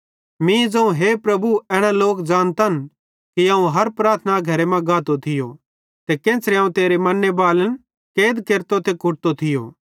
मीं ज़ोवं हे प्रभु एना लोक ज़ानतन कि अवं हर प्रार्थना घरे मां गातो थियो ते केन्च़रे अवं तेरे मन्ने बालन कैद केरतो ते कुटतो थियो